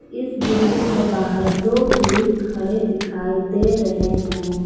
इस बिल्डिंग के बाहर दो पुलिस खड़े दिखाई दे रहे हैं।